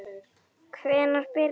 Hvenær byrjaði þetta?